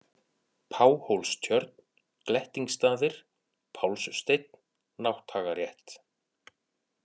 Páhólstjörn, Glettingsstaðir, Pálssteinn, Nátthagarétt